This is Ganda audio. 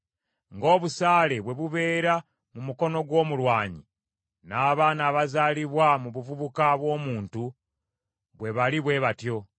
Ng’obusaale bwe bubeera mu mukono gw’omulwanyi, n’abaana abazaalibwa mu buvubuka bw’omuntu bwe bali bwe batyo.